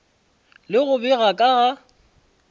le go bega ka ga